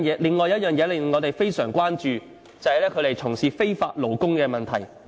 另一個令我們非常關注的，就是他們從事非法勞工的問題。